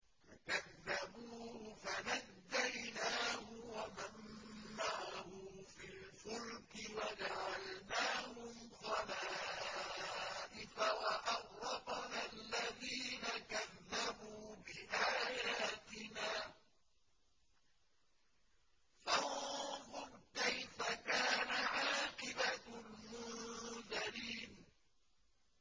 فَكَذَّبُوهُ فَنَجَّيْنَاهُ وَمَن مَّعَهُ فِي الْفُلْكِ وَجَعَلْنَاهُمْ خَلَائِفَ وَأَغْرَقْنَا الَّذِينَ كَذَّبُوا بِآيَاتِنَا ۖ فَانظُرْ كَيْفَ كَانَ عَاقِبَةُ الْمُنذَرِينَ